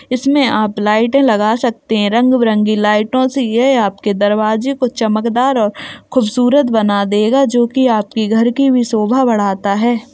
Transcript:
इसमें आप लाइट लगा सकते हैं रंग बिरंगे लाइटों से यह आपके दरवाजे को चमकदार और खूबसूरत बना देगा जो कि आपके घर की भी शोभा बढ़ाता है ।